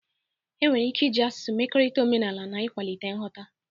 Enwere ike iji asụsụ mekọrịta omenala na ịkwalite nghọta